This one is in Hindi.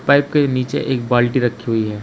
पाइप के नीचे एक बाल्टी रखी हुई है।